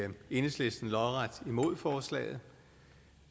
enhedslisten lodret imod forslaget